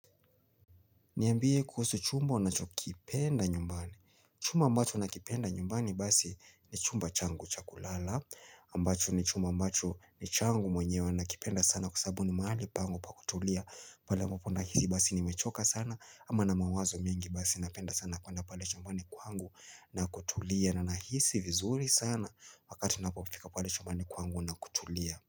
Niambie kuhusu chumba unachokipenda nyumbani. Chuma ambacho nakipenda nyumbani basi ni chumba changu cha kulala. Ambacho ni chumba ambacho ni changu mwenyewe nakipenda sana kwa sababu ni mahali pangu pa kutulia. Pale ambapo nahisi basi nimechoka sana ama nina mawazo mingi basi napenda sana kwanda pale chumbani kwangu na kutulia. Na nahisi vizuri sana wakati napofika pale chumbani kwangu na kutulia.